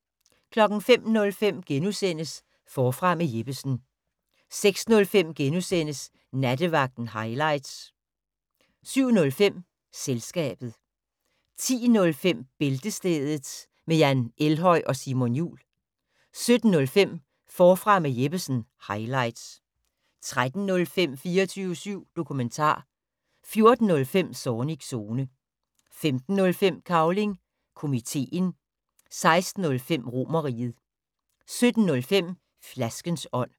05:05: Forfra med Jeppesen * 06:05: Nattevagten highlights * 07:05: Selskabet 10:05: Bæltestedet med Jan Elhøj og Simon Jul 12:05: Forfra med Jeppesen - highlights 13:05: 24syv dokumentar 14:05: Zornigs Zone 15:05: Cavling Komiteen 16:05: Romerriget 17:05: Flaskens ånd